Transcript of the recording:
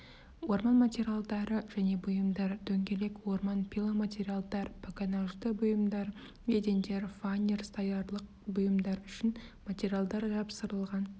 орман материалдары және бұйымдар дөңгелек орман пиломатериалдар погонажды бұйымдар едендер фанер столярлық бұйымдар үшін материалдар жапсырылған